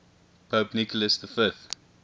pope nicholas v